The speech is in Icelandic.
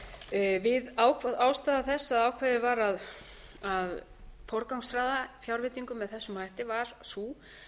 til smærri sveitarfélaga ástæða þess að ákveðið var að forgangsraða fjárveitingum með þessum hætti var sú